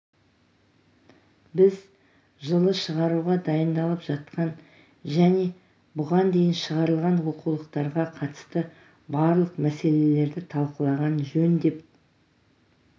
біз жылы шығаруға дайындалып жатқан және бұған дейін шығарылған оқулықтарға қатысты барлық мәселелерді талқылаған жөн деп